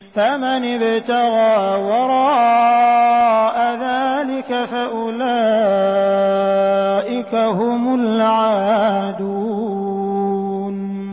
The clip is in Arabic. فَمَنِ ابْتَغَىٰ وَرَاءَ ذَٰلِكَ فَأُولَٰئِكَ هُمُ الْعَادُونَ